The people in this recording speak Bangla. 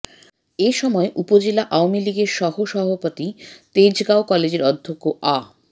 এ সময় উপজেলা আওয়ামী লীগের সহ সভাপতি তেজঁগাও কলেজের অধ্যক্ষ আ